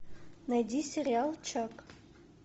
найди сериал чак